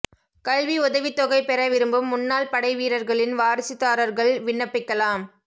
கல்வி உதவித் தொகை பெற விரும்பும் முன்னாள் படை வீரா்களின் வாரிசுதாரா்கள் விண்ணப்பிக்கலாம்